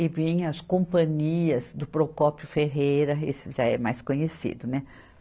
e vinha as companhias do Procópio Ferreira, esse já é mais conhecido, né?